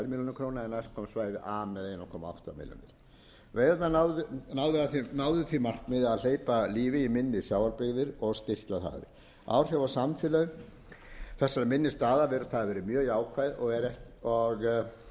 króna en næst kom svæði a með einum komma átta milljónir veiðarnar náðu því markmiði að hleypa lífi í minni sjávarbyggðir og styrkja þær áhrif á samfélögin þessara minni staða virðast hafa verið mjög jákvæð en ekki er eins augljóst